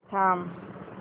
थांब